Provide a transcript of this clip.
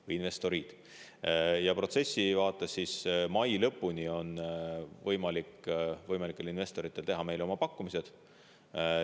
Protsessi mõttes on investoritel mai lõpuni võimalik teha meile oma pakkumised.